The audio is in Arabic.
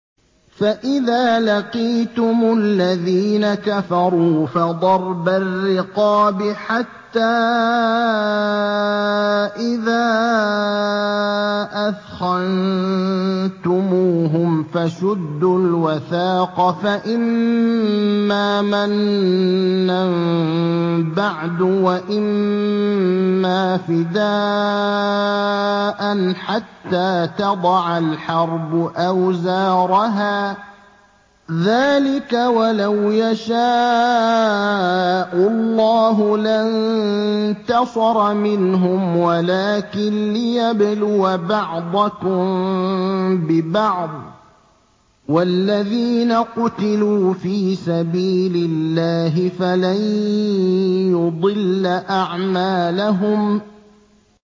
فَإِذَا لَقِيتُمُ الَّذِينَ كَفَرُوا فَضَرْبَ الرِّقَابِ حَتَّىٰ إِذَا أَثْخَنتُمُوهُمْ فَشُدُّوا الْوَثَاقَ فَإِمَّا مَنًّا بَعْدُ وَإِمَّا فِدَاءً حَتَّىٰ تَضَعَ الْحَرْبُ أَوْزَارَهَا ۚ ذَٰلِكَ وَلَوْ يَشَاءُ اللَّهُ لَانتَصَرَ مِنْهُمْ وَلَٰكِن لِّيَبْلُوَ بَعْضَكُم بِبَعْضٍ ۗ وَالَّذِينَ قُتِلُوا فِي سَبِيلِ اللَّهِ فَلَن يُضِلَّ أَعْمَالَهُمْ